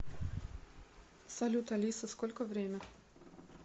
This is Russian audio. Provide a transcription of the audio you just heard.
салют алиса сколько время